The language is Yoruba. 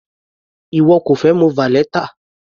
Ìwọ kò fẹ mu valeta?